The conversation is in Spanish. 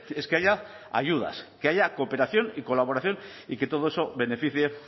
es que haya ayudas que haya cooperación y colaboración y que todo eso beneficie